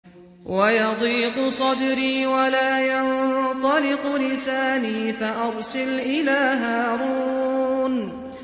وَيَضِيقُ صَدْرِي وَلَا يَنطَلِقُ لِسَانِي فَأَرْسِلْ إِلَىٰ هَارُونَ